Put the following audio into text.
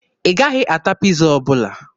Ị gaghị ata Piiza ọbụla.